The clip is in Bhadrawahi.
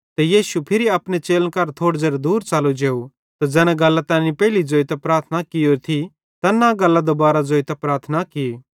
ते यीशु फिरी अपने चेलन केरां थोड़े दूर च़लो जेव त ज़ैना गल्लां तैनी पेइले ज़ोइतां प्रार्थना कियोरी थी तैन्नां गल्लां दुबारां ज़ोइतां प्रार्थना की